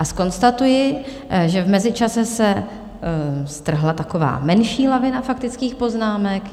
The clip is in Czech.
A zkonstatuji, že v mezičase se strhla taková menší lavina faktických poznámek.